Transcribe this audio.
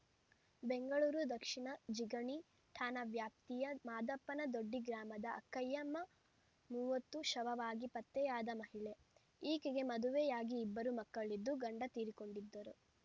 ಬೆಂಗಳೂರು ದಕ್ಷಿಣ ಜಿಗಣಿ ಠಾಣಾ ವ್ಯಾಪ್ತಿಯ ಮಾದಪ್ಪನ ದೊಡ್ಡಿ ಗ್ರಾಮದ ಅಕ್ಕಯ್ಯಮ್ಮ ಮೂವತ್ತು ಶವವಾಗಿ ಪತ್ತೆಯಾದ ಮಹಿಳೆ ಈಕೆಗೆ ಮದುವೆಯಾಗಿ ಇಬ್ಬರು ಮಕ್ಕಳಿದ್ದು ಗಂಡ ತೀರಿಕೊಂಡಿದ್ದರು